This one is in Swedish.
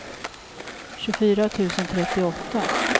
tjugofyra tusen trettioåtta